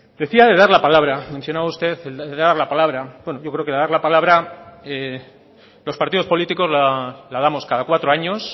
decía de dar la palabra mencionaba usted el dar la pablara bueno yo creo que dar la palabra los partidos políticos la damos cada cuatro años